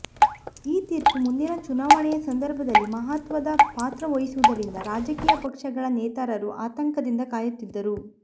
ಈ ತೀರ್ಪು ಮುಂದಿನ ಚುನಾವಣೆಯ ಸಂದರ್ಭದಲ್ಲಿ ಮಹತ್ವದ ಪಾತ್ರವಹಿಸುವುದರಿಂದ ರಾಜಕೀಯ ಪಕ್ಷಗಳ ನೇತಾರರೂ ಆತಂಕದಿಂದ ಕಾಯುತ್ತಿದ್ದರು